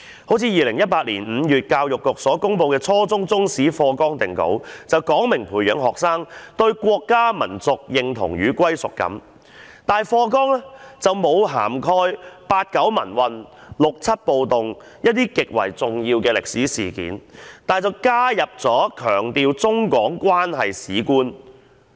例如2018年5月教育局所公布的初中中國歷史科課程大綱定稿，旨在培養學生對國家民族認同與歸屬感，可是課程大綱並未涵蓋八九民運、六七暴動等一些極為重要的歷史事件，但卻加入了強調中港關係的歷史觀。